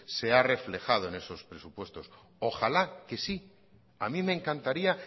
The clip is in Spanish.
se ha reflejado en esos presupuestos ojalá que sí a mí me encantaría